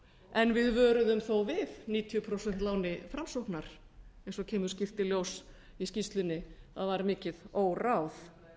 en við vöruðum þó við níutíu prósent láni framsóknar eins og kemur skýrt í ljós í skýrslunni að var mikið óráð